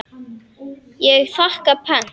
Ég þakka pent.